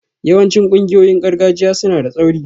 Yawancin ƙungiyoyin gargajiya suna da tsauri